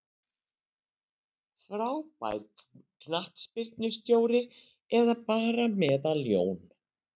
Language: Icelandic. Frábær knattspyrnustjóri eða bara meðal-Jón?